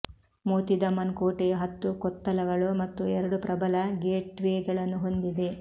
ಮೋತಿ ದಮನ್ ಕೋಟೆಯು ಹತ್ತು ಕೊತ್ತಲಗಳು ಮತ್ತು ಎರಡು ಪ್ರಬಲ ಗೇಟ್ವೇಗಳನ್ನು ಹೊಂದಿದೆ